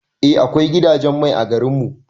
Eh akwai gidajen mai a garin mu.